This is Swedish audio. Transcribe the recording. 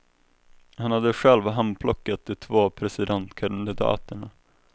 Han hade själv handplockat de två presidentkandidaterna.